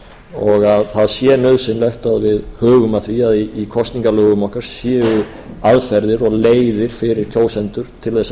og að það sé nauðsynlegt að við hugum að því að í kosningalögum okkar séu aðferðir og leiðir fyrir kjósendur til þess